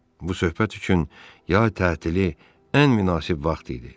Bu söhbət üçün yay tətili ən münasib vaxt idi.